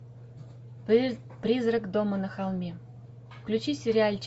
призрак дома на холме включи сериальчик